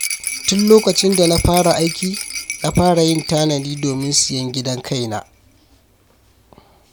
Tun lokacin da na fara aiki, na fara yin tanadi domin siyan gidan kaina.